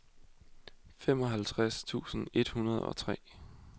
femoghalvfjerds tusind et hundrede og tre